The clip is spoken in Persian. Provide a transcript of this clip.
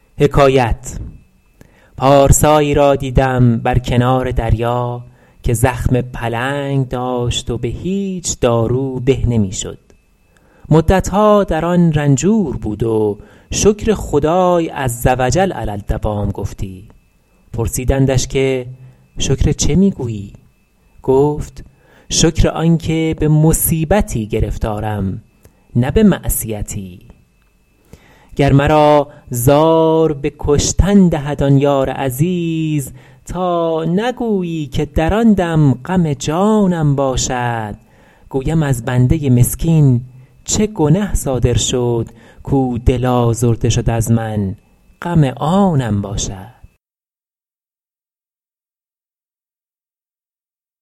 پارسایی را دیدم بر کنار دریا که زخم پلنگ داشت و به هیچ دارو به نمی شد مدتها در آن رنجور بود و شکر خدای عزوجل علی الدوام گفتی پرسیدندش که شکر چه می گویی گفت شکر آن که به مصیبتی گرفتارم نه به معصیتی گر مرا زار به کشتن دهد آن یار عزیز تا نگویی که در آن دم غم جانم باشد گویم از بنده مسکین چه گنه صادر شد کاو دل آزرده شد از من غم آنم باشد